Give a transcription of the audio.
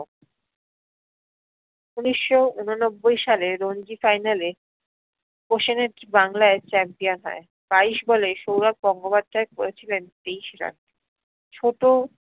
উনিশশো উননব্বই সালে রঞ্জী final এ বাংলাই champion হয়, বাইশ বলে সৌরভ গঙ্গোপাধ্যায় করেছিলেন তেইশ রান। ছোটো